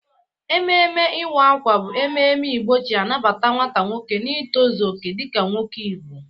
Ememe iwa akwa bụ ememe Igbo ji anabata nwata nwoke n'itọzọ oke dịka nwoke Igbo.